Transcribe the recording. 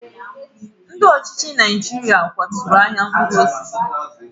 Ndị ọchịchị Naijiria kwaturu ahịa mkpụrụ osisi.